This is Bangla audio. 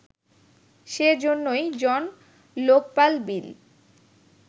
সেজন্যই জন লোকপাল বিল